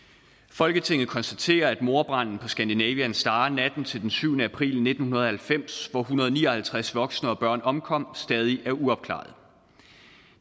folketinget konstaterer at mordbranden på scandinavian star natten til den syvende april nitten halvfems hvor en hundrede og ni og halvtreds voksne og børn omkom stadig er uopklaret